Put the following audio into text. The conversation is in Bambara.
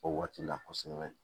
O waati la kosɛbɛ